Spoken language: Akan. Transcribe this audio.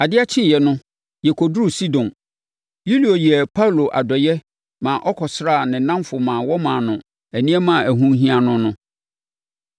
Adeɛ kyeeɛ no, yɛkɔduruu Sidon. Yulio yɛɛ Paulo adɔeɛ maa ɔkɔsraa ne nnamfo maa wɔmaa no nneɛma a ɛho hia no no.